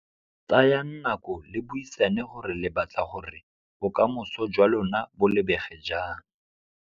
Tsayang nako le buisane gore le batla gore bokamoso jwa lona bo lebege jang.